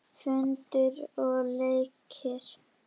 Föndur og leikir.